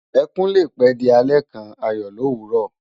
Ekún lé pè di àlè kán àyò lówúrò